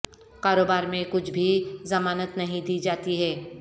کاروبار میں کچھ بھی ضمانت نہیں دی جاتی ہے